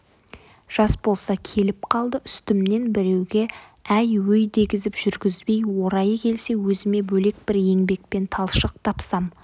жас болса келіп қалды үстімнен біреуге әй өй дегізіп жүргізбей орайы келсе өзіме бөлек бір еңбекпен талшық тапсам